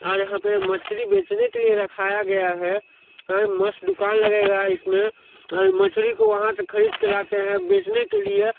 यहाँ पर मछली बेचने के लिए रखाया गया हैं ये मस्त दुकान लगेगा इसमें मछली को वहाँ से खरीद के लाके यहाँ बेचने के लिए।